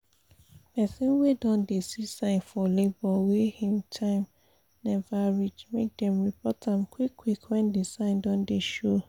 persin wey don dey see sign for labor wey him time never reach make dem report am qik qik when the sign don dey show